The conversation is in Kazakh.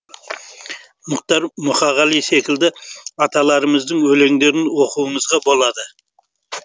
мұхтар мұқағали секілді аталарымыздың өлеңдерін оқуыңызға болады